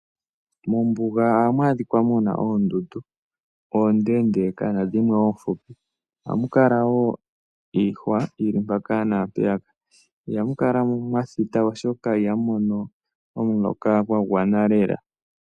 Ombuga ohamu adhika oondundu oondeka na dhimwe oofupi. Ohamu kala wo iihwa yili mpaka naa mpeyaka. Ihamu kala mwa thita oshoka ihamu mono omuloka gwa gwana lela.